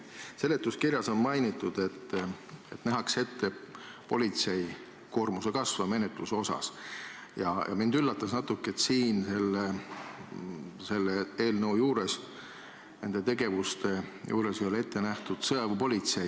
Seletuskirjas on mainitud, et menetluse osas nähakse ette politsei koormuse kasvu, ja mind üllatas natuke, et selles eelnõus, nende tegevuste juures ei ole ette nähtud sõjaväepolitseid.